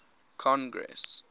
congress